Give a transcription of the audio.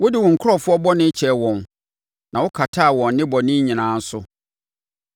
Wode wo nkurɔfoɔ bɔne kyɛɛ wɔn na wokataa wɔn nnebɔne nyinaa so.